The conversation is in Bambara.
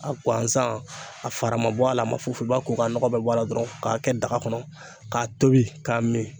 A guwansan, a fara ma bɔ a la , a ma foyi foyi, i b'a ko k'a nɔgɔ bɛ bɔ a la dɔrɔn k'a kɛ daga kɔnɔ k'a tobi k'a min.